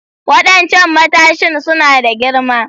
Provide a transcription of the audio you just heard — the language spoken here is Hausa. Waɗancan matashin suna da girma